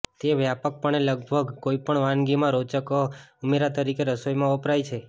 તે વ્યાપકપણે લગભગ કોઈપણ વાનગીમાં રોચક ઉમેરા તરીકે રસોઈમાં વપરાય છે